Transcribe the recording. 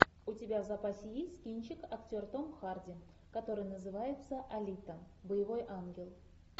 у тебя в запасе есть кинчик актер том харди который называется алита боевой ангел